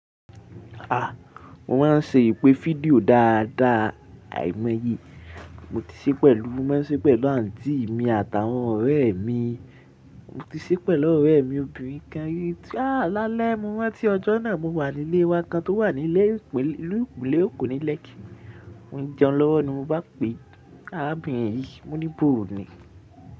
A! Mo máa ń ṣe ìpè fídíò dáadáa, àìmọ́ ye mo ti ṣe pẹ̀lú, mo máa ń ṣe pẹ̀lú àǹtí mi àtàwọn ọ̀rẹ́ mi. Mo ti ṣe pẹ̀lú ọ̀rẹ́ mi obìnrin kan rii. A! Lálẹ́, mo ranti ọjọ́ náà mo wà nílé wa kan tó wà nílẹ̀ ìpò, ní ìlú Ògùnlé, ilu eko nílẹ̀ẹ́kì. Mo ń jẹun lọ́wọ́ ni mo bá pe arábìnrin yìí, mo ní "Bóò ni?"